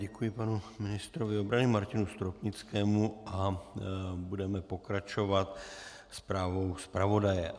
Děkuji panu ministrovi obrany Martinu Stropnickému a budeme pokračovat zprávou zpravodaje.